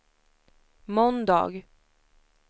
måndag